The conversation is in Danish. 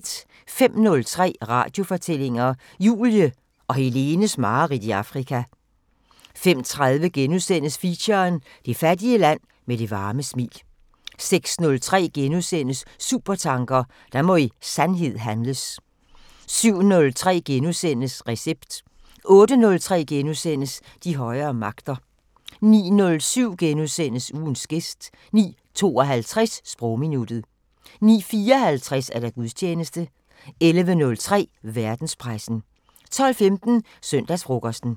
05:03: Radiofortællinger: Julie og Helenes mareridt i Afrika 05:30: Feature: Det fattige land med det varme smil * 06:03: Supertanker: Der må i sandhed handles * 07:03: Recept * 08:03: De højere magter * 09:07: Ugens gæst * 09:52: Sprogminuttet 09:54: Gudstjeneste 11:03: Verdenspressen 12:15: Søndagsfrokosten